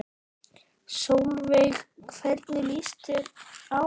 Sólveig: Hvernig líst þér á það?